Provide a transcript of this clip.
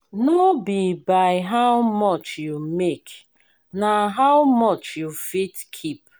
no be by how much you make na how much you fit keep.